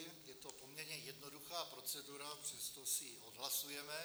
Je to poměrně jednoduchá procedura, přesto si ji odhlasujeme.